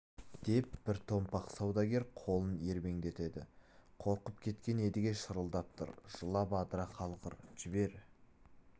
деп бір томпақ саудагер қолын ербеңдетеді қорқып кеткен едіге шырылдап тұр жылап адыра қалғыр жібер